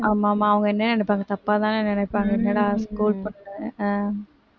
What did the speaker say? ஆமா ஆமா அவுங்க என்ன நினைப்பாங்க தப்பா தானே நினைப்பாங்க ஏன்னா அவுங்க school பொண்ணு அஹ்